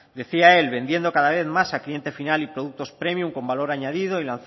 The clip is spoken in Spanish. decía él vendiendo cada vez más al cliente final y productos premium con valor añadido